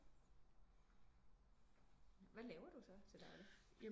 Hvad laver du så til dagligt